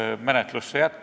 Käige Tallinna hotellides!